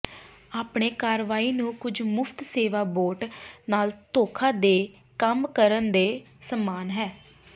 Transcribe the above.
ਆਪਣੇ ਕਾਰਵਾਈ ਨੂੰ ਕੁਝ ਮੁਫ਼ਤ ਸੇਵਾ ਬੋਟ ਨਾਲ ਧੋਖਾ ਦੇ ਕੰਮ ਕਰਨ ਦੇ ਸਮਾਨ ਹੈ